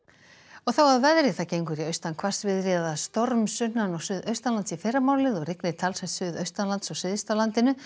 og þá að veðri það gengur í austan hvassviðri eða storm sunnan og suðaustanlands í fyrramálið og rignir talsvert suðaustanlands og syðst á landinu